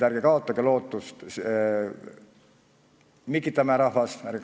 Ärge kaotage lootust, Mikitamäe rahvas!